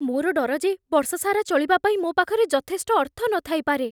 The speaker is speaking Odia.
ମୋର ଡର ଯେ ବର୍ଷ ସାରା ଚଳିବା ପାଇଁ ମୋ ପାଖରେ ଯଥେଷ୍ଟ ଅର୍ଥ ନଥାଇପାରେ।